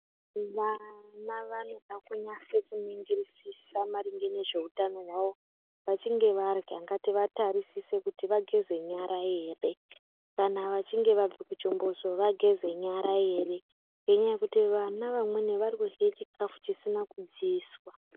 Vana vanoda kunasa kuningirisisa maringe nezveutano hwavo. Vachinge varya ngativatarisise kuti vageze nyara ere. Kana vachinge vabva kuchimbuzi vageze nyara ere ngenyaya yekutizve vana vanweni varikurya chikafu chisina kudziiswa.